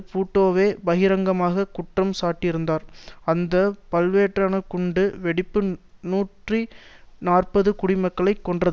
பூட்டோவே பகிரங்கமாக குற்றம் சாட்டியிருந்தார் அந்த பல்வேறான குண்டு வெடிப்பு நூற்றி நாற்பது குடிமக்களை கொன்றது